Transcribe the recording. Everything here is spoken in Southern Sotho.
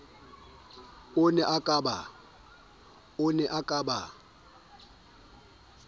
o ne a ka ba